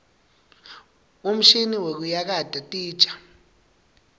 umshini wekuyakata titja